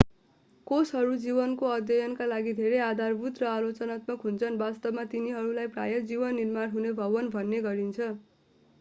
कोषहरू जीवनको अध्ययनका लागि धेरै आधारभूत र आलोचनात्मक हुन्छन् वास्तवमा तिनीहरूलाई प्रायः जीवन निर्माण हुने भवन भन्ने गरिन्छ